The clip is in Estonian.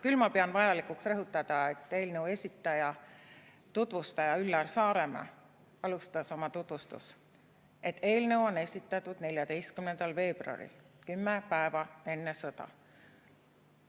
Küll pean ma vajalikuks rõhutada, et eelnõu esitaja, tutvustaja Üllar Saaremäe alustas oma tutvustust, et eelnõu on esitatud 14. veebruaril, kümme päeva enne sõda.